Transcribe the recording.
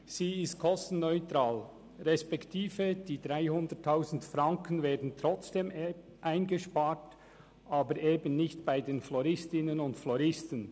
Diese Planungserklärung ist kostenneutral, das heisst, die 300 000 Franken werden trotzdem eingespart, aber eben nicht bei den Floristinnen und Floristen.